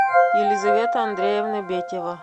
елизавета андреевна бетева